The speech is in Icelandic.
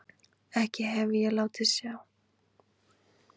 Ekki hef ég látið á sjá.